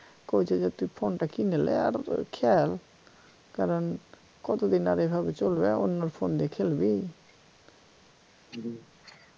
কইছে যে তুই phone টা কিইনে লে আর খেল কারন কতদিন আর এভাবে চলবে অন্যর phone দিয়ে খেলবি